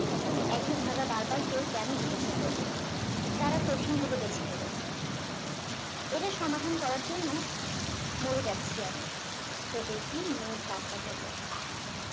একই ধাঁধা বারবার কেউ কেন জিজ্ঞাসা করবে তারা কঠিন গুলো বেছে নিলো এটা সমাধান করার জন্য মোর যাচ্ছি আমি ছোট একটি মেয়ে বাচ্চা বললো